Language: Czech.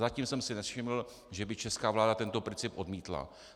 Zatím jsem si nevšiml, že by česká vláda tento princip odmítla.